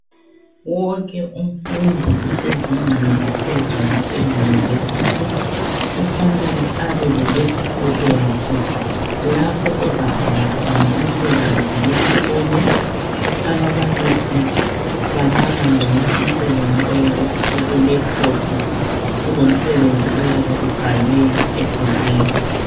Wonke umfundi osezingeni laphezulu eyunivesithi kufanele abe le laphuthophu yakhe lapho ozabhala khona umsebenzi wesikolo ababalisi bamaka gcono umsebenzi oyabe ukulaphuthophi kulomsebenzi oyabe ubhalwe ebhukwini.